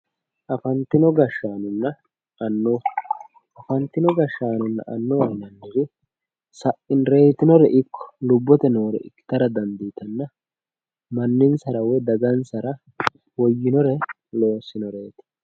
Afantino gashshaanonna annuwa afantino gashshaanonna annuwaho yinanniri reetinore ikko lubbote noore ikkitara dandiitanna manninsara woyi dagansara woyyinore loossinoreeti